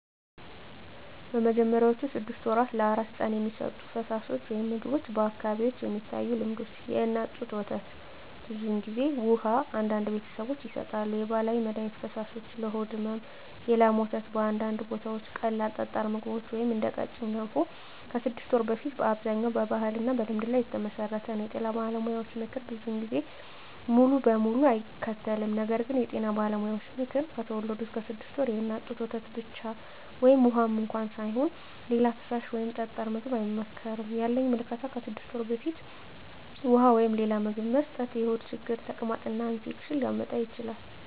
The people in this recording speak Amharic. በመጀመሪያዎቹ 6 ወራት ለአራስ ሕፃን የሚሰጡ ፈሳሾች/ምግቦች በአካባቢዎች የሚታዩ ልምዶች፦ የእናት ጡት ወተት (ብዙ ጊዜ) ውሃ (አንዳንድ ቤተሰቦች ይሰጣሉ) የባህላዊ መድሀኒት ፈሳሾች (ለሆድ ሕመም) የላም ወተት (በአንዳንድ ቦታዎች) ቀላል ጠጣር ምግቦች (እንደ ቀጭን ገንፎ) ከ6 ወር በፊት አብዛኛው በባህልና በልምድ ላይ የተመሠረተ ነው የጤና ባለሙያዎች ምክር ብዙ ጊዜ ሙሉ በሙሉ አይከተልም ነገር ግን የጤና ባለሙያዎች ምክር፦ ከተወለዱ እስከ 6 ወር ድረስ የእናት ጡት ወተት ብቻ (ውሃም እንኳ ሳይሆን) ሌላ ፈሳሽ ወይም ጠጣር ምግብ አይመከርም ያለኝ ምልከታ ከ6 ወር በፊት ውሃ ወይም ሌላ ምግብ መስጠት የሆድ ችግር፣ ተቅማጥ እና ኢንፌክሽን ሊያመጣ ይችላል